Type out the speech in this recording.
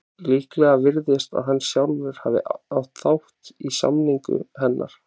Líklegt virðist að hann sjálfur hafi átt þátt í samningu hennar.